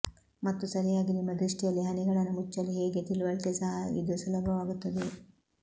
ಮತ್ತು ಸರಿಯಾಗಿ ನಿಮ್ಮ ದೃಷ್ಟಿಯಲ್ಲಿ ಹನಿಗಳನ್ನು ಮುಚ್ಚಲು ಹೇಗೆ ತಿಳಿವಳಿಕೆ ಸಹ ಇದು ಸುಲಭವಾಗುತ್ತದೆ